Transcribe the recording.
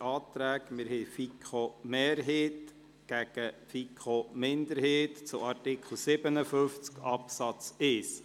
Wir haben den Antrag der FiKoMehrheit gegenüber dem Antrag der FiKo-Minderheit zu Artikel 57a Absatz 1.